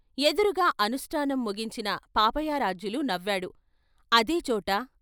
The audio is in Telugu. ఎదురుగా అనుష్ఠానం ముగించిన పాపయారాధ్యులు నవ్వాడు, అదేచోట....